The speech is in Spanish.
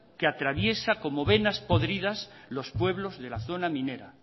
que atraviesa como venas podridas los pueblos de la zona minera